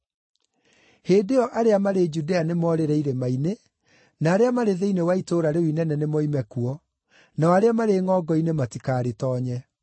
Hĩndĩ ĩyo arĩa marĩ Judea nĩmorĩre irĩma-inĩ, na arĩa marĩ thĩinĩ wa itũũra rĩu inene nĩmoime kuo, nao arĩa marĩ ngʼongo-inĩ matikarĩtoonye.